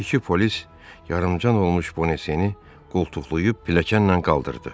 İki polis yarımtan olmuş Bonasiyeni qoltuqlayıb pilləkənlə qaldırdı.